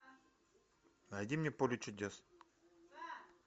найди мне поле чудес